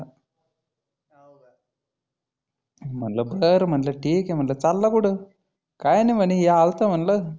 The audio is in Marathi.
म्हणलं बरं म्हणलं ठिक हे. म्हटलं चालला कुठंं? काही नाही म्हणी हे आलतो म्हणलं